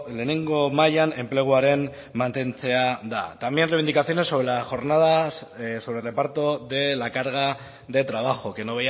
lehenengo mailan enpleguaren mantentzea da también reivindicaciones sobre el reparto de la carga de trabajo que